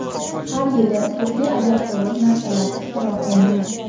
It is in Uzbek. Har yili turli ajabtovur narslar ixtiro qiladi.